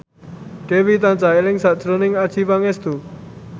Dewi tansah eling sakjroning Adjie Pangestu